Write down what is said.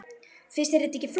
Finnst þér þetta ekki flott?